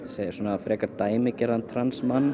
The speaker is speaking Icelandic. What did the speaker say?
frekar dæmigerðan